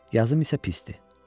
Yazım isə pisdir.